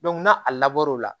n'a lab